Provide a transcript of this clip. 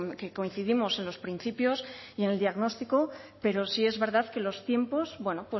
que coincidimos en los principios y en el diagnóstico pero sí es verdad que los tiempos bueno